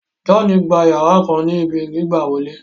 John gbà yara kan ní ibí gbigbawole